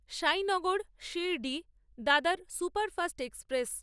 Sainagar Shirdi Dadar superfast express